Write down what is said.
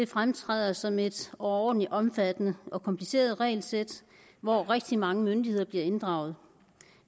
fremtræder sådan et overordentlig omfattende og kompliceret regelsæt hvor rigtig mange myndigheder bliver inddraget